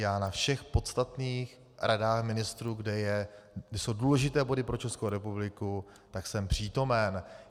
Já na všech podstatných radách ministrů, kde jsou důležité body pro Českou republiku, tak jsem přítomen.